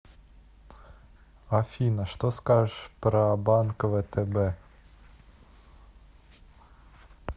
афина что скажешь про банк втб